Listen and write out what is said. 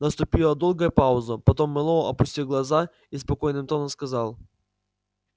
наступила долгая пауза потом мэллоу опустил глаза и спокойным тоном сказал